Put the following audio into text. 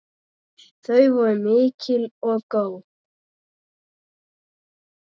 Þau voru mikil og góð.